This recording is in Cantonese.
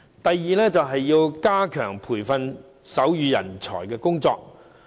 第二，加強培訓手語人才的工作。